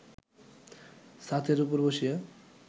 ছাতের উপর বসিয়া